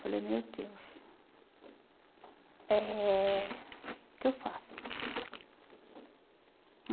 Falei, meu Deus, eh o que eu faço?